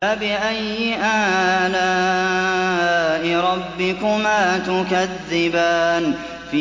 فَبِأَيِّ آلَاءِ رَبِّكُمَا تُكَذِّبَانِ